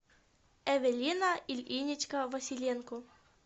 эвелина ильинична василенко